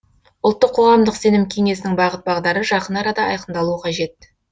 ұлттық қоғамдық сенім кеңесінің бағыт бағдары жақын арада айқындалуы қажет